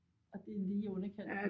Og det er lige i underkanten